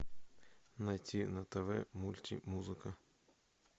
найти на тв мультимузыка